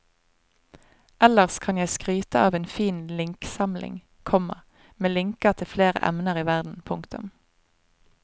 Ellers kan jeg skryte av en fin linksamling, komma med linker til flere emner i verden. punktum